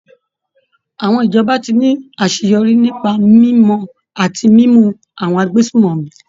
Àwọn ìjọba tí ní àṣeyọrí nípa mímọ̀ àti mímú àwọn agbésùmọ̀mí.